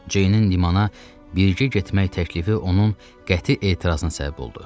Jeynin limana birgə getmək təklifi onun qəti etirazına səbəb oldu.